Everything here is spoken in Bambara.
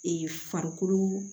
farikolo